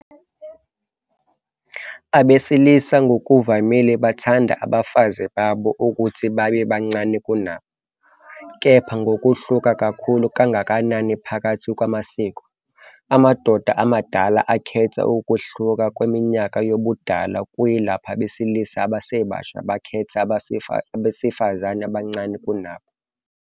Abesilisa ngokuvamile bathanda abafazi babo ukuthi babe bancane kunabo, kepha ngokuhluka kakhulu kangakanani phakathi kwamasiko. Amadoda amadala akhetha ukwehluka kweminyaka yobudala, kuyilapho abesilisa abasebasha bekhetha abesifazane abancane kunabo.